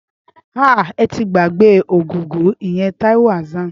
Áà!!! Ẹ ti gbàgbé Ògògó, ìyẹn Taiwo Hassan.